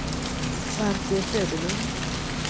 Svante Söderlund